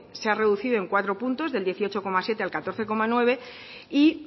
se ha reducido en cuatro puntos del dieciocho coma siete al catorce coma nueve y